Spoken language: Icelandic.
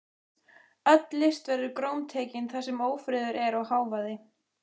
Öll list verður grómtekin þar sem ófriður er og hávaði.